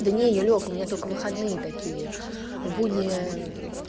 да нет юлёк у меня только выходные такие в будние